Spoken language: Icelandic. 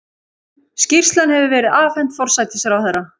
Skýrslan hefur verið afhent forsætisráðherra